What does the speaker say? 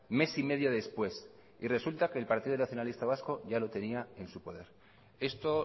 mes y medio después y resulta que el partido nacionalista vasco ya lo tenía en su poder esto